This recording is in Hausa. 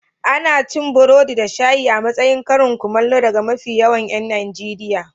Ana cin burodi da shayi a matsayin karin kumallo daga mafi yawan 'yan Najeriya.